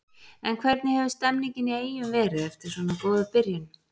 En hvernig hefur stemningin í Eyjum verið eftir svona góða byrjun?